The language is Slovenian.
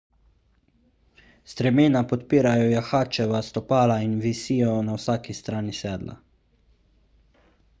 stremena podpirajo jahačeva stopala in visijo na vsaki strani sedla